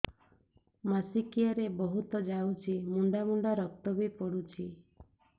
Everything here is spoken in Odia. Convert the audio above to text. ମାସିକିଆ ରେ ବହୁତ ଯାଉଛି ମୁଣ୍ଡା ମୁଣ୍ଡା ରକ୍ତ ବି ପଡୁଛି